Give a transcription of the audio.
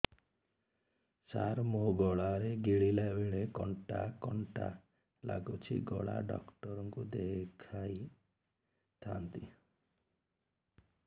ସାର ମୋ ଗଳା ରେ ଗିଳିଲା ବେଲେ କଣ୍ଟା କଣ୍ଟା ଲାଗୁଛି ଗଳା ଡକ୍ଟର କୁ ଦେଖାଇ ଥାନ୍ତି